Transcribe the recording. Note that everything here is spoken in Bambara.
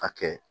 A kɛ